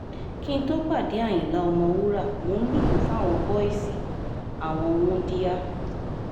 kí n tóó pàdé àyìnlá ọ̀mọ̀wúrà mò ń lùlù fáwọn bọ́ìsì àwọn wúńdíá